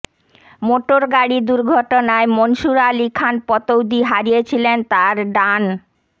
মোটরগাড়ির দুর্ঘটনায় মনসুর আলি খান পাতৌদি হারিয়েছিলেন তার ডান